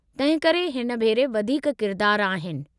तंहिंकरे हिन भेरे वधीक किरदारु आहिनि।